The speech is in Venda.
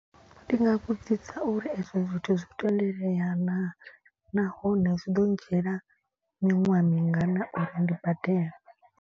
Ndi nga vhudzisa uri ezwo zwithu zwo tendelea naa. Nahone zwi ḓo ndzhiela miṅwaha mingana uri ndi badela.